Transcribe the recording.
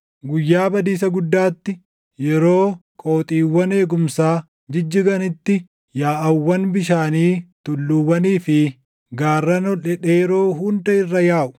Guyyaa badiisa guddaatti, yeroo qooxiiwwan eegumsaa jijjiganitti yaaʼawwan bishaanii tulluuwwanii fi gaarran ol dhedheeroo hunda irra yaaʼu.